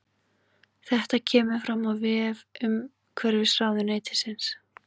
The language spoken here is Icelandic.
Þetta kemur fram á vef umhverfisráðuneytisins